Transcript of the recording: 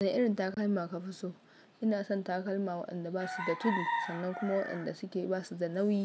Wani irin takalma ka fi so? Ina son takalma waɗanda ba su da tudu sannan kuma waɗanda suke ba su da nauyi,